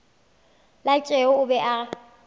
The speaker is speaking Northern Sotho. la tšeo a bego a